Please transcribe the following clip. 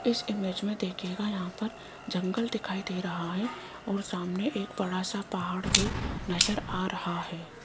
इस इमेज में देखियेगा यहां पर जंगल दिखाई दे रहा है और सामने एक बड़ा सा पहाड़ भी नजर आ रहा है।